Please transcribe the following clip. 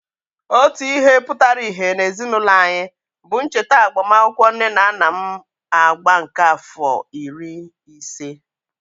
Otu ihe pụtara íhé n'ezinụlọ anyị bụ ncheta agbamakwụkwọ nne na nna m agba nke àfọ iri ise.